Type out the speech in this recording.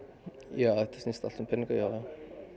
já þetta snýst allt saman um peninga já